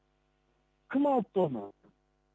кім алыпты оны